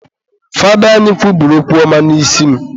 Fada anyị kwubiri okwu ọma n'isi m